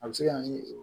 A bɛ se ka na ni